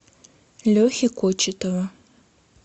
лехи кочетова